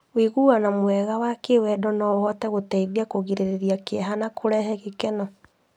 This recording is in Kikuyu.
Ũiguano mwega wa kĩwendo no ũhote gũteithia kũgirĩrĩria kĩeha na kũrehe gĩkeno.